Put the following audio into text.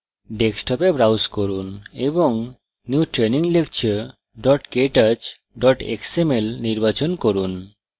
ডেস্কটপে browse করুন এবং new training lecture ktouch xml নির্বাচন করুন